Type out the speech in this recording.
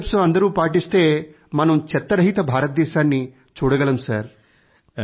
ఈ మూడు స్టెప్స్ అందరూ పాటిస్తే మనం చెత్త రహిత భారతదేశాన్ని చూడగలము